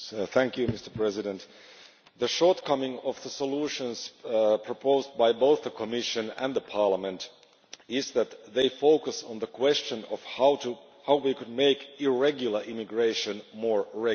Mr President, the shortcoming of the solutions proposed by both the Commission and Parliament is that they focus on the question of how we could make irregular immigration more regular.